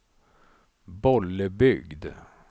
Bollebygd